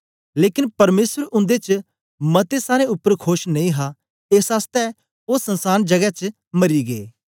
लेकन परमेसर उन्दे च मतें सारें उपर खोश नेई हा एस आसतै ओ संसान गजे च मरी गै